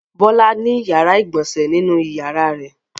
Bọ́lá ní ìyàrá-ìgbọ̀nsẹ̀ nínú ìyàrá rẹ̀.